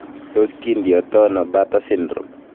Tos kindiotono Bartter syndrome?